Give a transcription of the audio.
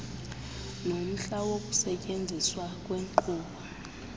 nomhla wokusetyenziswa kwenkqubo